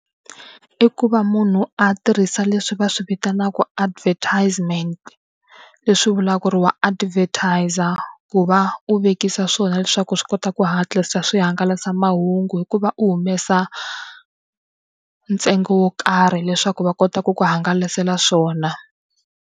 I ku va munhu a tirhisa leswi va swi vitanaka advertisement. Leswi vulaka ku ri wa advertise-za ku va u vekisa swona leswaku swi kota ku hatlisa swihangalasamahungu hikuva u humesa ntsengo wo karhi leswaku va kota ku ku hangalasela swona.